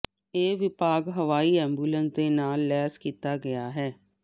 ਇਹ ਵਿਭਾਗ ਹਵਾਈ ਐਬੂਲਸ ਦੇ ਨਾਲ ਲੈਸ ਕੀਤਾ ਗਿਆ ਹੈ